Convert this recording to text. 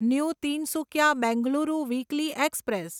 new Tinsukia Bengaluru weekly express